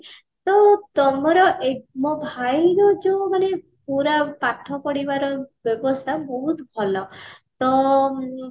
ତ ତମର ଏ ମୋ ଭାଇ ର ଯୋଉ ମାନେ ପୁରା ପାଠ ପଢିବାରେ ବ୍ୟବସ୍ତା ବହୁତ ଭଲ ତ ଉଁ